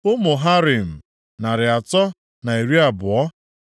Ụmụ Harim, narị atọ na iri abụọ (320).